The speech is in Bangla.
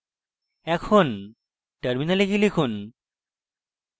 এখন terminal গিয়ে লিখুন